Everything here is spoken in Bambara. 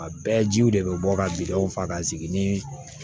A bɛɛ jiw de bɛ bɔ ka jiw faga ka sigi ni